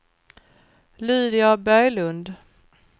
Lydia Berglund